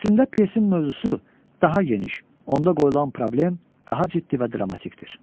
Əslində pyesin mövzusu daha geniş, onda qoyulan problem daha ciddi və dramatikdir.